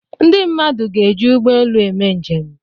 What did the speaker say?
Ndị mmadụ ga-eji ụgbọelu eme njem.